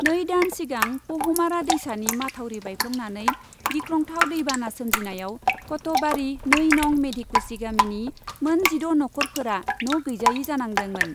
नै दान सिगां पहुमारा दैसानि माथावरि बायफ्लंनानै गिख्रंथाव दै बाना सोमजिनायाव कत'हबारि नै नं. मेधिकुसि गामिनि मोन जिद' नखरफोरा न' गैजायै जानांदोंमोन ।